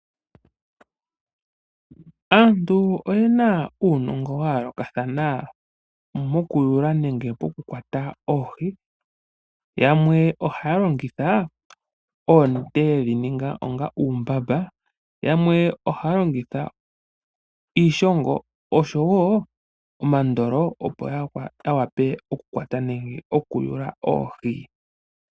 Aantu oyena uunongo wa yoolokathana moku yula nenge moku kwata oohi. Yamwe ohaa longitha oonete yedhi ninga iimbamba nayamwe ohaa longitha iishongo nosho woo omandolo opo ya wape ya kwate oohi.